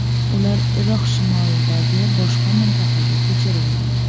Ular Iroq shimolidagi boshqa mintaqaga ko‘chirilgan.